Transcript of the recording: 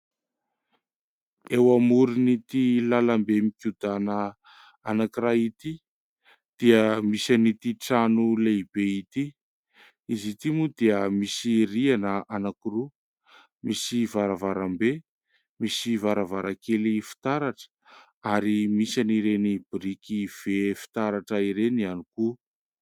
Eo amoron' ity lalam-be mikodàna anankiray ity dia misy an'ity trano lehibe ity. Izy ity moa dia misy rihana anankiroa, misy varavarambe, misy varavarankely fitaratra ary misy an'ireny biriky vy fitaratra ireny ihany koa.